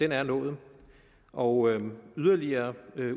er nået og yderligere